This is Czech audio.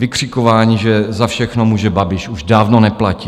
Vykřikování, že za všechno může Babiš, už dávno neplatí.